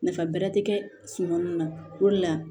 Nafa bɛrɛ ti kɛ suma min na o de la